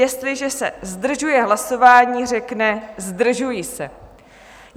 Jestliže se zdržuje hlasování, řekne "zdržuji se".